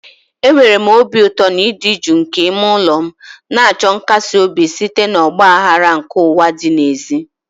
Enwere m obi ụtọ n'ịdị jụụ nke ime ụlọ m, na-achọ nkasi obi site na ọgba aghara nke ụwa dị n'èzí.